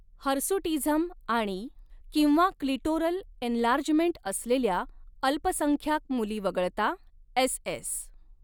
Hirsutism आणि किंवा clitoral enlargement असलेल्या अल्पसंख्याक मुली वगळता एसएस.